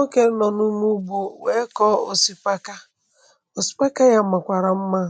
okè nọ̀ n’ume ugbȯ wee kọ̀ osìpaka osìpaka yà um màkwàrà mmȧ